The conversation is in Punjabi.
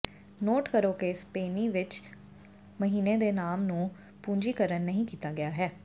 ਨੋਟ ਕਰੋ ਕਿ ਸਪੇਨੀ ਵਿੱਚ ਮਹੀਨੇ ਦੇ ਨਾਮ ਨੂੰ ਪੂੰਜੀਕਰਣ ਨਹੀਂ ਕੀਤਾ ਗਿਆ ਹੈ